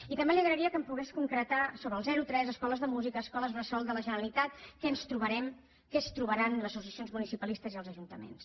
i també li agrairia que em pogués concretar sobre el zero tres escoles de música escoles bressol de la generalitat què ens trobarem què es trobaran les associacions municipalistes i els ajuntaments